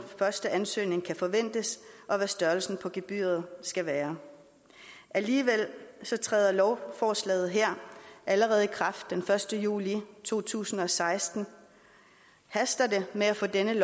første ansøgning kan forventes og hvad størrelsen på gebyret skal være alligevel træder lovforslaget her allerede i kraft den første juli to tusind og seksten haster det med at få denne